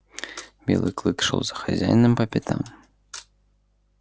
белый клык шёл за хозяином по пятам